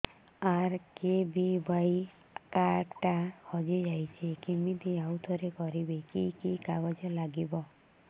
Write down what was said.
RKBY card ଟା ହଜିଯାଇଛି କିମିତି ଆଉଥରେ କରିବି କି କି କାଗଜ ଲାଗିବ